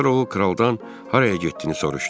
Sonra o kraldan haraya getdiyini soruşdu.